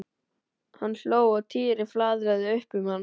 Hann hló og Týri flaðraði upp um hann.